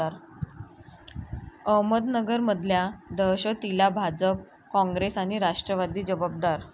अहमदनगरमधल्या दहशतीला भाजप, काँग्रेस आणि राष्ट्रवादी जबाबदार'